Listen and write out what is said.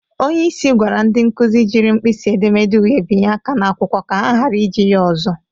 Onyeisi gwara ndị nkụzị jiri mpịsị edemede uhe binye aka n'akwụkwọ ka ha ghara iji ya ọzọ.